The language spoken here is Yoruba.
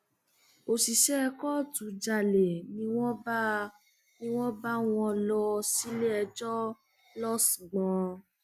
òṣìṣẹ kóòtù jalè ni wọn bá wọ wọn lọ síléẹjọ lọsgbọn